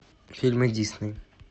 фильмы дисней